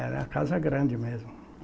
Era uma casa grande mesmo.